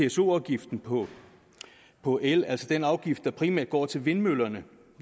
pso afgiften på på el altså den afgift der primært går til vindmøllerne